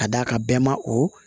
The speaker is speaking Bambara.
Ka d'a kan bɛɛ ma o